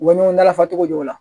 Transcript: U bɛ ɲɔgɔn dalafa cogo jo la